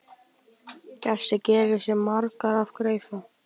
Gestur gerir sig margur að greifa.